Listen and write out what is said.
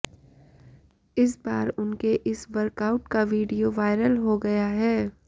इस बार उनके इस वर्कआउट का वीडियो वायरल हो गया है